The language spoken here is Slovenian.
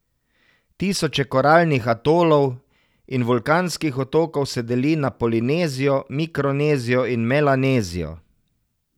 Tisoče koralnih atolov in vulkanskih otokov se deli na Polinezijo, Mikronezijo in Melanezijo.